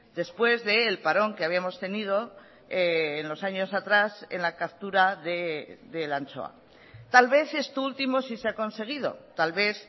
después del parón que habíamos tenido en los años atrás en la captura de la anchoa tal vez esto último sí se ha conseguido tal vez